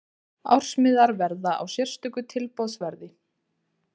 Ársmiðar verða á sérstöku tilboðsverði.